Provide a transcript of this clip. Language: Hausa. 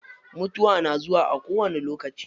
Mutuwa na zuwa a kowani lokaci.